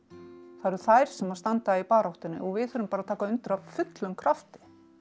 það eru þær sem standa í baráttunni og við þurfum bara að taka undir af fullum krafti